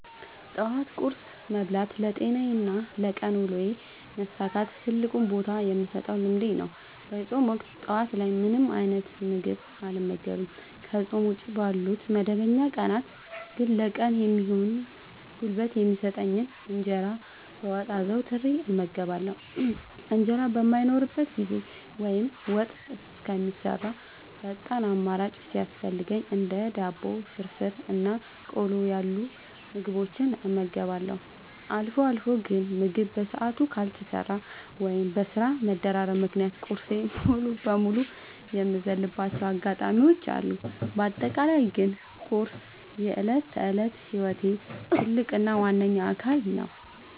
ጠዋት ቁርስ መብላት ለጤናዬና ለቀን ውሎዬ መሳካት ትልቅ ቦታ የምሰጠው ልምዴ ነው። በፆም ወቅት ጠዋት ላይ ምንም አይነት ምግብ አልመገብም። ከፆም ውጪ ባሉ መደበኛ ቀናት ግን ለቀኑ የሚሆን ጉልበት የሚሰጠኝን እንጀራ በወጥ አዘውትሬ እመገባለሁ። እንጀራ በማይኖርበት ጊዜ ወይም ወጥ እስከሚሰራ ፈጣን አማራጭ ሲያስፈልገኝ እንደ ዳቦ፣ ፍርፍር እና ቆሎ ያሉ ምግቦችን እመገባለሁ። አልፎ አልፎ ግን ምግብ በሰዓቱ ካልተሰራ ወይም በስራ መደራረብ ምክንያት ቁርሴን ሙሉ በሙሉ የምዘልባቸው አጋጣሚዎች አሉ። በአጠቃላይ ግን ቁርስ የዕለት ተዕለት ህይወቴ ትልቅ እና ዋነኛ አካል ነው።